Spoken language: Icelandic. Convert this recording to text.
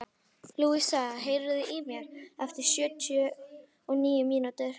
Lúsía, heyrðu í mér eftir sjötíu og níu mínútur.